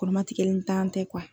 Kɔrɔmatigɛkɛnin tan tɛ